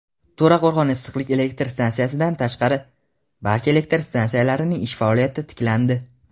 To‘raqo‘rg‘on issiqlik elektr stansiyasidan tashqari barcha elektr stansiyalarning ish faoliyati tiklandi.